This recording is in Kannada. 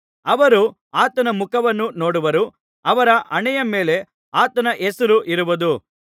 ಅವರು ಆತನ ಮುಖವನ್ನು ನೋಡುವರು ಅವರ ಹಣೆಯ ಮೇಲೆ ಆತನ ಹೆಸರು ಇರುವುದು